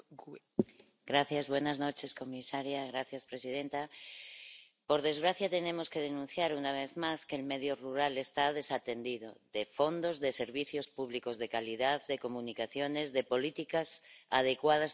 Señora presidenta, señora comisaria, por desgracia, tenemos que denunciar, una vez más, que el medio rural está desatendido, de fondos, de servicios públicos de calidad, de comunicaciones, de políticas adecuadas para luchar contra la despoblación.